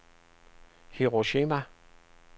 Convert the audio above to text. Hiroshima